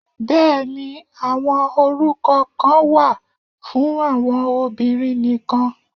Bẹ́ẹ̀ni, àwọn orúkọ kan wà fún àwọn obìnrin nìkan.